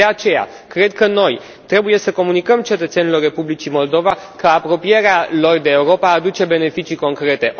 De aceea, cred că noi trebuie să comunicăm cetățenilor Republicii Moldova că apropierea lor de Europa aduce beneficii concrete.